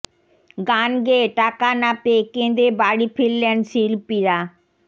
গান গেয়ে টাকা না পেয়ে কেঁদে বাড়ি ফিরলেন শিল্পীরা